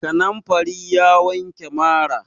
Kanamfari ya wanke mara.